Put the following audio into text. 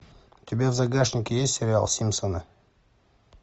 у тебя в загашнике есть сериал симпсоны